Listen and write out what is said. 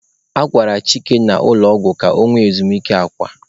A gwara Chike n'ụlọ ọgwụ ka ọ nwee ezumike akwa.